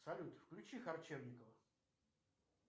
салют включи харчевникова